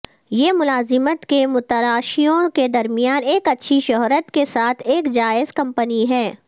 یہ ملازمت کے متلاشیوں کے درمیان ایک اچھی شہرت کے ساتھ ایک جائز کمپنی ہے